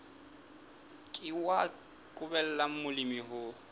ke wa qobella molemi ho